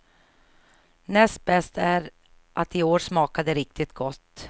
Näst bäst är att i år smakar det riktigt gott.